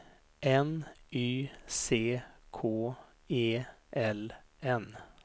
N Y C K E L N